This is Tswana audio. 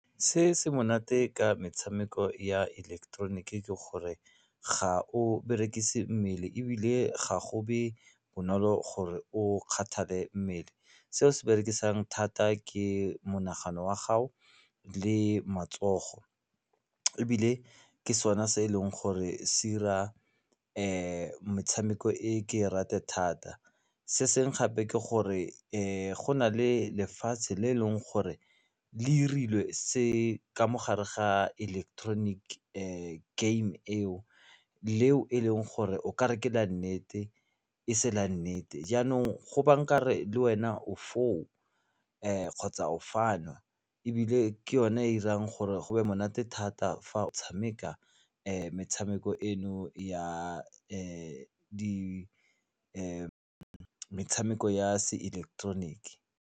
Se se monate ka metshameko ya ileketeroniki ke gore ga o berekise mmele ebile ga go be bonolo gore o kgathale mmele seo se berekisang thata ke monagano wa gago le matsogo ebile ke sona se e leng gore se 'ira metshameko e ke e rate thata. Se sengwe gape ke gore go na le lefatshe le eleng gore le irilwe se ka mo gare ga electronic game eo le e leng gore ekare ke la nnete e se la nnete jaanong go ba nkare le wena o foo kgotsa ofano ebile ke yone e 'irang gore go be monate thata fa o tshameka metshameko eno ya metshameko ya se ileketeroniki.